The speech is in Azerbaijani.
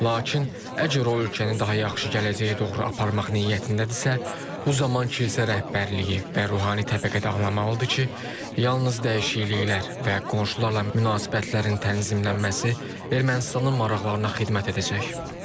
Lakin əgər o ölkəni daha yaxşı gələcəyə doğru aparmaq niyyətindədirsə, bu zaman kilsə rəhbərliyi və ruhani təbəqə anlamalıdır ki, yalnız dəyişikliklər və qonşularla münasibətlərin tənzimlənməsi Ermənistanın maraqlarına xidmət edəcək.